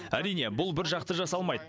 әрине бұл біржақты жасалмайды